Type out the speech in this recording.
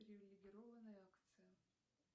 привилегированная акция